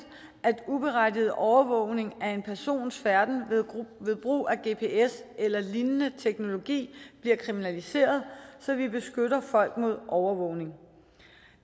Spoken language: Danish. at uberettiget overvågning af en persons færden ved brug af gps eller lignende teknologi bliver kriminaliseret så vi beskytter folk imod overvågning